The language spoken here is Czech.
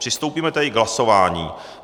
Přistoupíme tedy k hlasování.